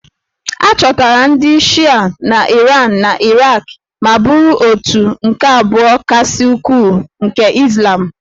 A chọtara ndị Shịa na Iran na Iraq ma bụrụ òtù nke abụọ kasị ukwuu nke Izlam